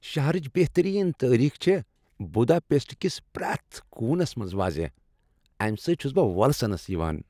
شہرٕچ بہترین تٲریخ چھےٚ بٗداپیسٹ کِس پرٛیتھ کونس منٛز واضح، امہِ سٕتۍ چھٗس بہٕ وولسنس یوان ۔